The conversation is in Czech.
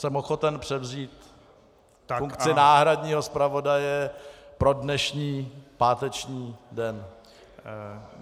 Jsem ochoten převzít funkci náhradního zpravodaje pro dnešní páteční den.